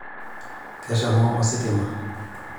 keshomo ositima